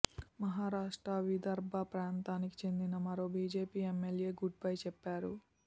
మహారాష్ట్ర విదర్భ ప్రాంతానికి చెందిన మరో బీజేపీ ఎమ్మెల్యే గుడ్ బై చెప్పారు